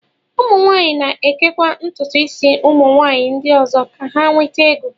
ụmụ nwaanyị na-ekekwa ntụtụ isi ụmụ nwanyị ndị ọzọ ka ha nweta ego